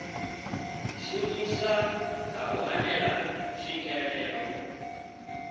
shumisa kha u hanela tswikelelo